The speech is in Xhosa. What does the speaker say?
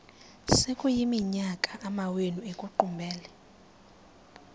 sekuyiminyaka amawenu ekuqumbele